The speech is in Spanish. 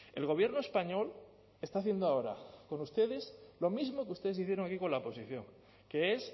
el gobierno español está haciendo ahora con ustedes lo mismo que ustedes hicieron aquí con la oposición que es